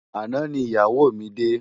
Àná ni iyáwó mi dé